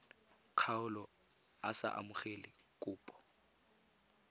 kgaolo a sa amogele kopo